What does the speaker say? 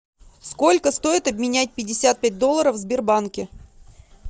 сколько стоит обменять пятьдесят пять долларов в сбербанке